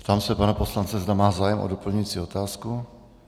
Ptám se pana poslance, zda má zájem o doplňující otázku.